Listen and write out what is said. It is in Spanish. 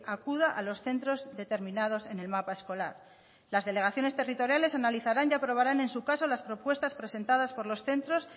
acuda a los centros determinados en el mapa escolar las delegaciones territoriales analizarán y aprobarán en su caso las propuestas presentadas por los centros